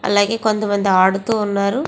అలాగే కొంత మంది ఆడుతూ వున్నారు.